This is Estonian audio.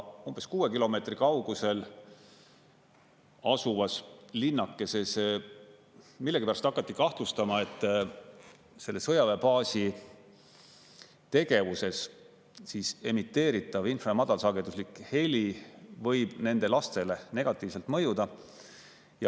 Umbes 6 kilomeetri kaugusel asuvas linnakeses millegipärast hakati kahtlustama, et selle sõjaväebaasi tegevuses emiteeritav infra- ja madalsageduslik heli võib nende lastele negatiivselt mõjuda.